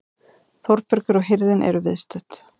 Þórbergur og hirðin eru viðstödd.